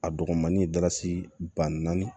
A dɔgɔnin dasi ban naani